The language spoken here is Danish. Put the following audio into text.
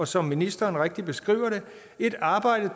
som ministeren rigtigt beskriver det et arbejde